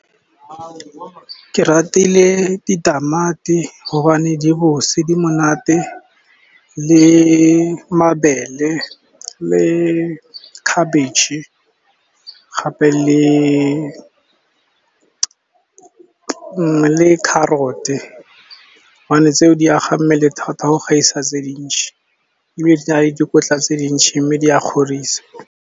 Ke ratile ditamati gobane di bose, di monate le mabele le khabetšhe gape le carrot-e. Gobane tse o di aga mmele thata go gaisa tse dintsi, ebile di na le dikotla tse dintsi, mme di a kgorisa.